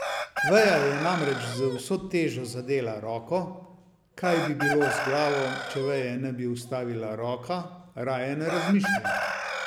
Veja je namreč z vso težo zadela roko, kaj bi bilo z glavo, če veje ne bi ustavila roka, raje ne razmišlja.